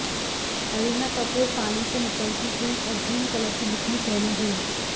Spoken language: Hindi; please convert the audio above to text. करीना कपूर पानी से निकलती हुई और ग्रीन कलर की बिकनी पहने हुई